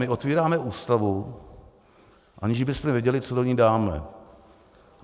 My otevíráme Ústavu, aniž bychom věděli, co do ní dáme.